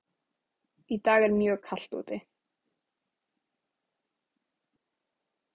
Í dag er mjög kalt úti.